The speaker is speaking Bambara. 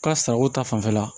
Ka sariko ta fanfɛla